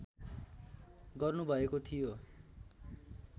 गर्नुभएको थियो